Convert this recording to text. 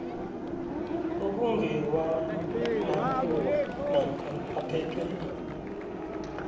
okungewamakhuwa namkha aphethwe